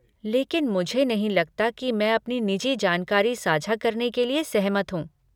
लेकिन मुझे नहीं लगता कि मैं अपनी निजी जानकारी साझा करने के लिए सहमत हूँ।